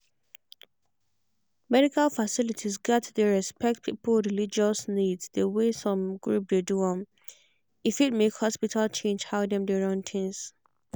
medical facilities gats dey respect people religious needs the way some group dey do am. e fit make hospital change how dem dey run things.